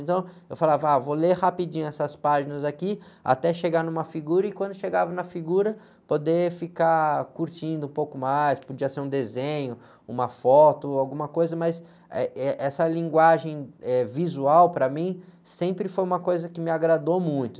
Então, eu falava, ah, vou ler rapidinho essas páginas aqui, até chegar numa figura, e quando chegava na figura, poder ficar curtindo um pouco mais, podia ser um desenho, uma foto, ou alguma coisa, mas, eh, eh, essa linguagem, eh, visual, para mim, sempre foi uma coisa que me agradou muito.